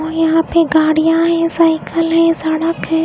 और यहाँ पे गाड़ियाँ हैं साइकेल है सड़क है।